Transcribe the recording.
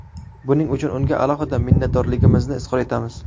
Buning uchun unga alohida minnatdorligimizni izhor etamiz.